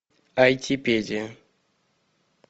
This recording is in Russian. айтипедия